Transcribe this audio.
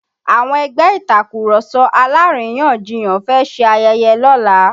Àwọn ẹgbẹ́ Ìtàkurọ̀sọ alárìyanjiyàn fẹ́ ṣe ayẹyẹ lọ́la